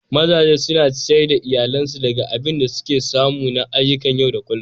Mazaje suna ciyar da iyalinsu daga abin da suke samu na ayyukan yau da kullum.